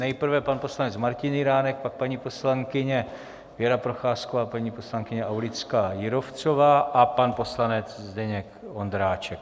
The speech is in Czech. Nejprve pan poslanec Martin Jiránek, pak paní poslankyně Věra Procházková, paní poslankyně Aulická Jírovcová a pan poslanec Zdeněk Ondráček.